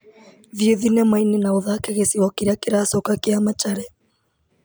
Thiĩ thinema-inĩ na ũthake gĩcigo kĩrĩa kĩracoka kĩa machare.